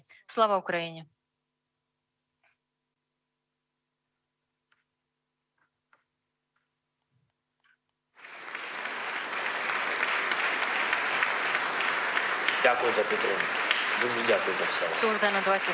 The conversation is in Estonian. Suur tänu, Eesti!